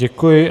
Děkuji.